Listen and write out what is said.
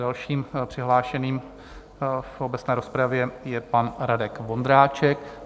Dalším přihlášeným do obecné rozpravy je pan Radek Vondráček.